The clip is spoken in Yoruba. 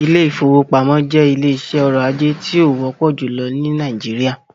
Ilé ìfọwọ́pamo jẹ́ ilé iṣé ọrọ̀ ajé tí o wọ́pọ̀ júlọ ní Nàìjíríà.